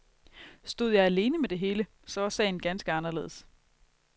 Stod jeg alene med det hele, så var sagen ganske anderledes.